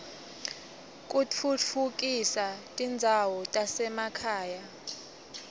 kutfutfukisa tindzawo tasema khaya